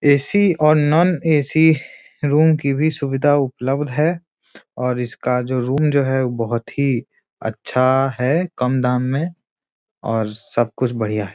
AC. और non AC. Room की भी सुबिधा उपलब्ध है और इसका जो रूम जो है बहुत ही अच्छा है कम दाम में और सब कुछ बढ़िया है।